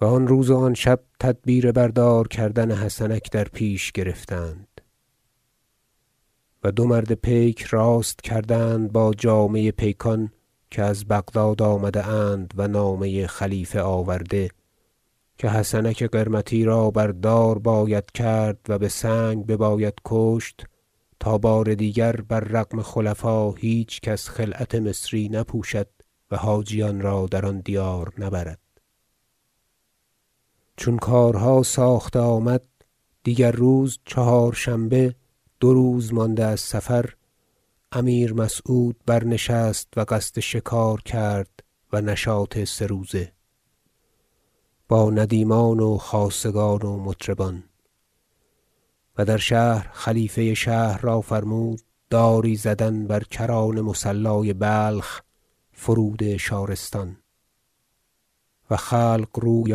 و آن روز و آن شب تدبیر بر دار کردن حسنک در پیش گرفتند و دو مرد پیک راست کردند با جامه پیکان که از بغداد آمده اند و نامه خلیفه آورده که حسنک قرمطی را بر دار باید کرد و بسنگ بباید کشت تا بار دیگر بر رغم خلفا هیچ کس خلعت مصری نپوشد و حاجیان را در آن دیار نبرد چون کارها ساخته آمد دیگر روز چهارشنبه دو روز مانده از صفر امیر مسعود برنشست و قصد شکار کرد و نشاط سه روزه با ندیمان و خاصگان و مطربان و در شهر خلیفه شهر را فرمود داری زدن بر کران مصلای بلخ فرود شارستان و خلق روی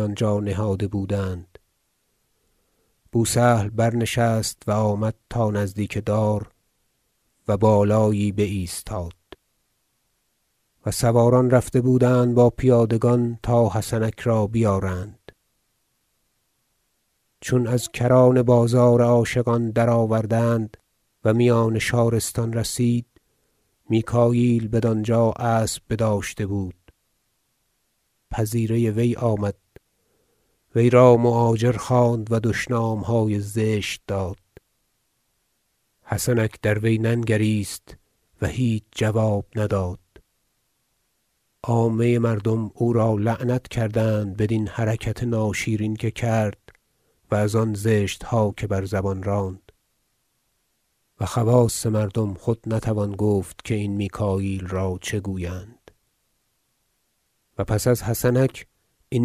آنجا نهاده بودند بو سهل برنشست و آمد تا نزدیک دار و بر بالایی بایستاد و سواران رفته بودند با پیادگان تا حسنک را بیارند چون از کران بازار عاشقان درآوردند و میان شارستان رسید میکاییل بدانجا اسب بداشته بود پذیره وی آمد وی را مؤاجر خواند و دشنامهای زشت داد حسنک دروی ننگریست و هیچ جواب نداد عامه مردم او را لعنت کردند بدین حرکت ناشیرین که کرد و از آن زشتها که بر زبان راند و خواص مردم خود نتوان گفت که این میکاییل را چه گویند و پس از حسنک این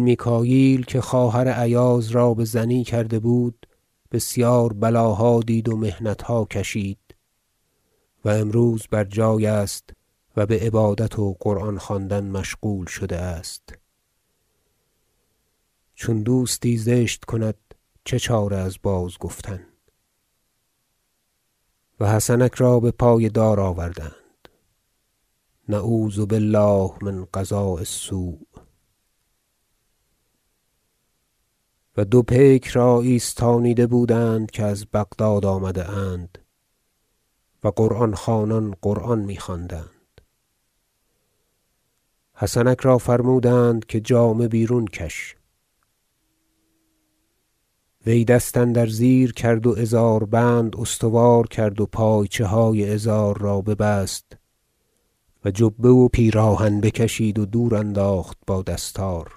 میکاییل که خواهر ایاز را بزنی کرده بود بسیار بلاها دید و محنتها کشید و امروز بر جای است و بعبادت و قران خواندن مشغول شده است چون دوستی زشت کند چه چاره از بازگفتن و حسنک را بپای دار آوردند نعوذ بالله من قضاء السوء و دو پیک را ایستانیده بودند که از بغداد آمده اند و قرآن خوانان قرآن میخواندند حسنک را فرمودند که جامه بیرون کش وی دست اندر زیر کرد و ازاربند استوار کرد و پایچه های ازار را ببست و جبه و پیراهن بکشید و دور انداخت با دستار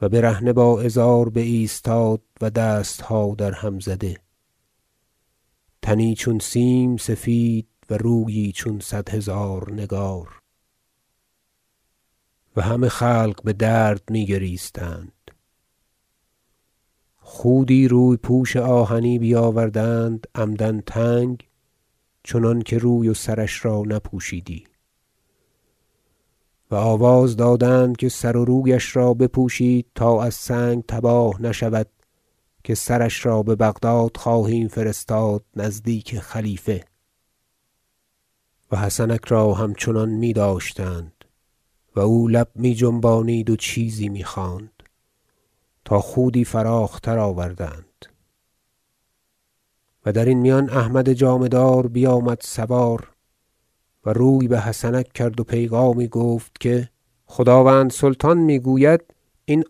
و برهنه با ازار بایستاد و دستها درهم زده تنی چون سیم سفید و رویی چون صد هزار نگار و همه خلق بدرد میگریستند خودی روی پوش آهنی بیاوردند عمدا تنگ چنانکه روی و سرش را نپوشیدی و آواز دادند که سر و رویش را بپوشید تا از سنگ تباه نشود که سرش را ببغداد خواهیم فرستاد نزدیک خلیفه و حسنک را همچنان می داشتند و او لب می جنبانید و چیزی می خواند تا خودی فراخ تر آوردند و درین میان احمد جامه دار بیامد سوار و روی بحسنک کرد و پیغامی گفت که خداوند سلطان می گوید این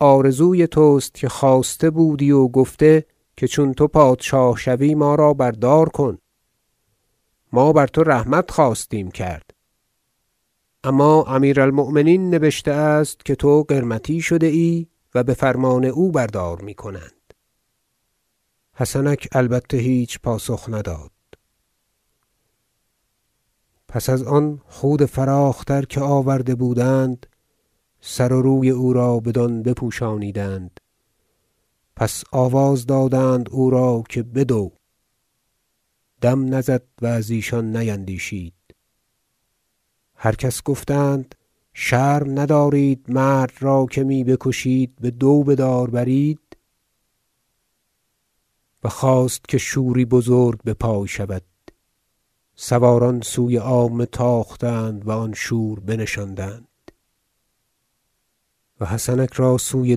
آرزوی تست که خواسته بودی و گفته که چون تو پادشاه شوی ما را بر دار کن ما بر تو رحمت خواستیم کرد اما امیر المؤمنین نبشته است که تو قرمطی شده ای و بفرمان او بر دار می کنند حسنک البته هیچ پاسخ نداد پس از آن خود فراخ تر که آورده بودند سر و روی او را بدان بپوشانیدند پس آواز دادند او را که بدو دم نزد و از ایشان نیندیشید هر کس گفتند شرم ندارید مرد را که می بکشید به دو بدار برید و خواست که شوری بزرگ بپای شود سواران سوی عامه تاختند و آن شور بنشاندند و حسنک را سوی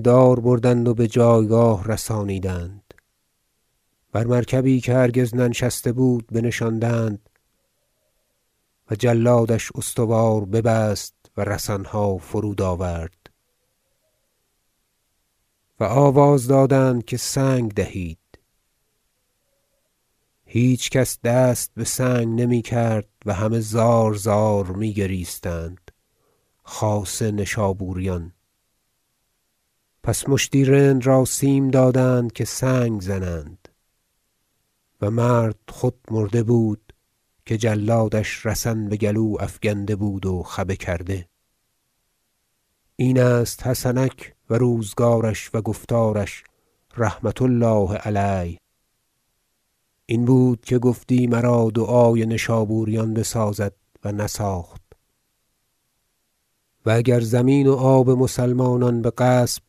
دار بردند و بجایگاه رسانیدند بر مرکبی که هرگز ننشسته بود بنشاندند و جلادش استوار ببست و رسنها فرود آورد و آواز دادند که سنگ دهید هیچ کس دست بسنگ نمی کرد و همه زارزار می گریستند خاصه نشابوریان پس مشتی رند را سیم دادند که سنگ زنند و مرد خود مرده بود که جلادش رسن بگلو افکنده بود و خبه کرده این است حسنک و روزگارش و گفتارش رحمة الله علیه این بود که گفتی مرا دعای نشابوریان بسازد و نساخت و اگر زمین و آب مسلمانان بغصب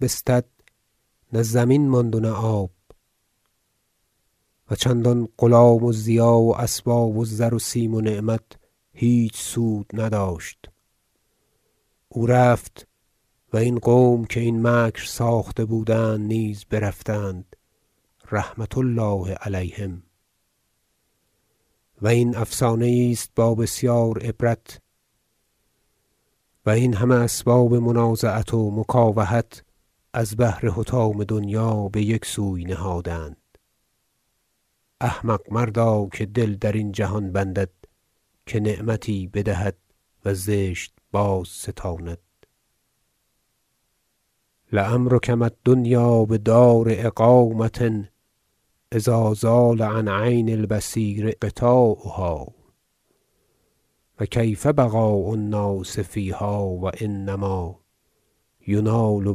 بستد نه زمین ماند و نه آب و چندان غلام و ضیاع و اسباب و زر و سیم و نعمت هیچ سود نداشت او رفت و این قوم که این مکر ساخته بودند نیز برفتند رحمة الله علیهم و این افسانه یی است با بسیار عبرت و این همه اسباب منازعت و مکاوحت از بهر حطام دنیا بیک سوی نهادند احمق مردا که دل درین جهان بندد که نعمتی بدهد و زشت بازستاند لعمرک ما الدنيا بدار إقامة إذا زال عن عين البصير غطاؤها و کيف بقاء الناس فيها و إنما ينال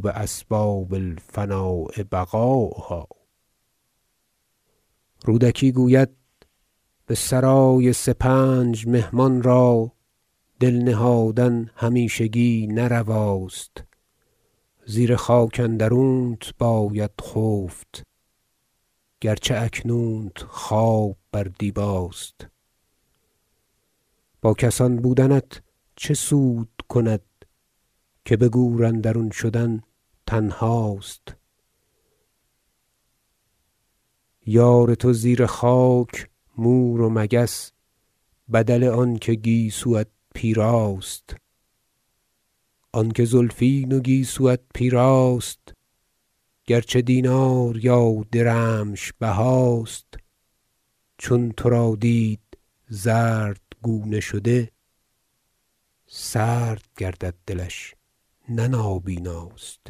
بأسباب الفناء بقاؤها رودکی گوید به سرای سپنج مهمان را دل نهادن همیشگی نه رواست زیر خاک اندرونت باید خفت گرچه اکنونت خواب بر دیباست با کسان بودنت چه سود کند که بگور اندرون شدن تنهاست یار تو زیر خاک مور و مگس بدل آنکه گیسویت پیراست آنکه زلفین و گیسویت پیراست گرچه دینار یا درمش بهاست چون تو را دید زردگونه شده سرد گردد دلش نه نابیناست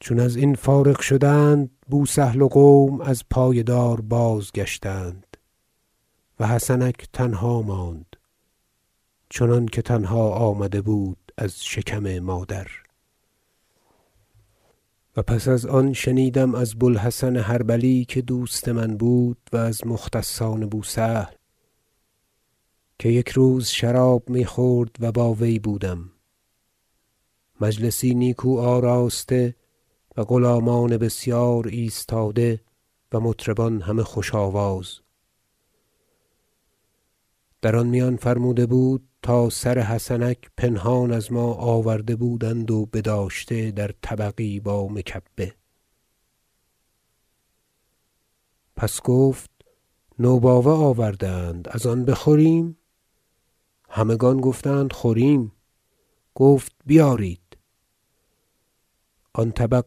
چون ازین فارغ شدند بو سهل و قوم از پای دار بازگشتند و حسنک تنها ماند چنانکه تنها آمده بود از شکم مادر و پس از آن شنیدم از بو الحسن حربلی که دوست من بود و از مختصان بو سهل که یک روز شراب میخورد و با وی بودم مجلسی نیکو آراسته و غلامان بسیار ایستاده و مطربان همه خوش آواز در آن میان فرموده بود تا سر حسنک پنهان از ما آورده بودند و بداشته در طبقی با مکبه پس گفت نوباوه آورده اند از آن بخوریم همگان گفتند خوریم گفت بیارید آن طبق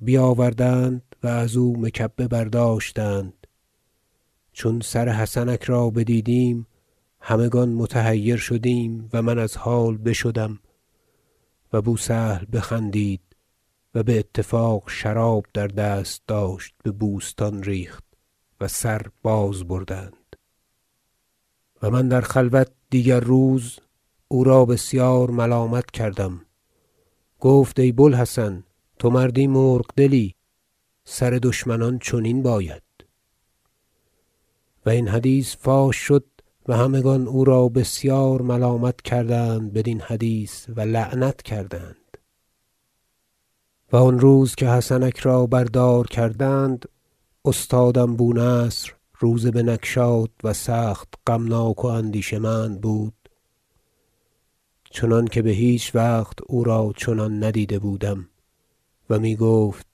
بیاوردند و ازو مکبه برداشتند چون سر حسنک را بدیدیم همگان متحیر شدیم و من از حال بشدم و بو سهل بخندید و باتفاق شراب در دست داشت ببوستان ریخت و سر باز بردند و من در خلوت دیگر روز او را بسیار ملامت کردم گفت ای بو الحسن تو مردی مرغ دلی سر دشمنان چنین باید و این حدیث فاش شد و همگان او را بسیار ملامت کردند بدین حدیث و لعنت کردند و آن روز که حسنک را بر دار کردند استادم بو نصر روزه بنگشاد و سخت غمناک و اندیشه مند بود چنانکه بهیچ وقت او را چنان ندیده بودم و میگفت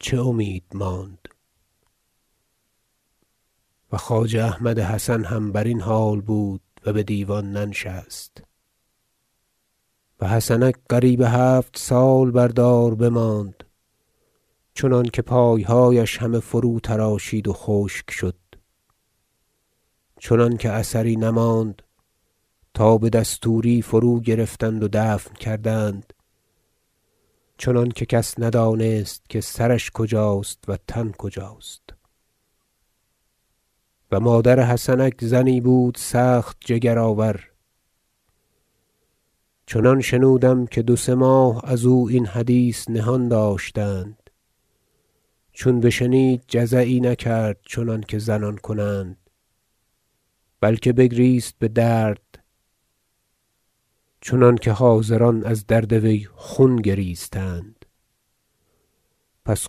چه امید ماند و خواجه احمد حسن هم برین حال بود و بدیوان ننشست و حسنک قریب هفت سال بر دار بماند چنانکه پایهایش همه فروتراشید و خشک شد چنانکه اثری نماند تا بدستور فرو گرفتند و دفن کردند چنانکه کس ندانست که سرش کجاست و تن کجاست و مادر حسنک زنی بود سخت جگرآور چنان شنودم که دو سه ماه ازو این حدیث نهان داشتند چون بشنید جزعی نکرد چنانکه زنان کنند بلکه بگریست بدرد چنانکه حاضران از درد وی خون گریستند پس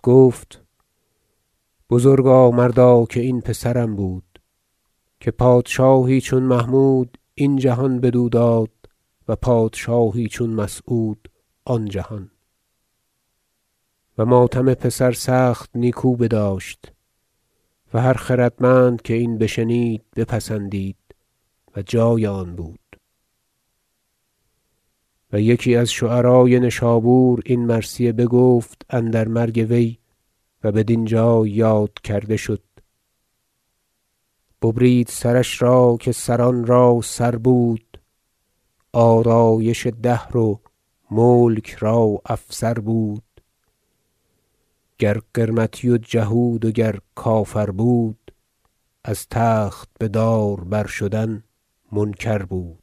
گفت بزرگا مردا که این پسرم بود که پادشاهی چون محمود این جهان بدو داد و پادشاهی چون مسعود آن جهان و ماتم پسر سخت نیکو بداشت و هر خردمند که این بشنید بپسندید و جای آن بود و یکی از شعرای نشابور این مرثیه بگفت اندر مرگ وی و بدین جای یاد کرده شد ببرید سرش را که سران را سر بود آرایش دهر و ملک را افسر بود گر قرمطی و جهود و گر کافر بود از تخت بدار برشدن منکر بود